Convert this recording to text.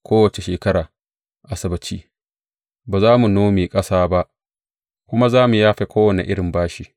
Kowace shekarar Asabbaci ba za mu nome ƙasa ba kuma za mu yafe kowane irin bashi.